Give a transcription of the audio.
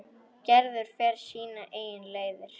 Gerður fer sínar eigin leiðir.